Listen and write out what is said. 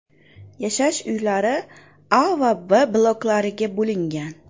Yashash uylari A va B bloklariga bo‘lingan.